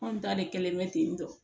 Anw ta de kɛlen bɛ ten tɔ